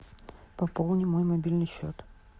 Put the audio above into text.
пополни мой мобильный счет